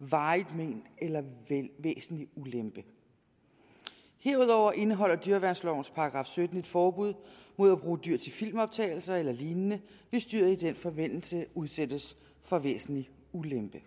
varigt mén eller væsentlig ulempe herudover indeholder dyreværnslovens § sytten et forbud mod at bruge dyr til filmoptagelser eller lignende hvis dyret i den forbindelse udsættes for væsentlig ulempe